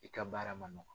I ka baara ma nɔgɔn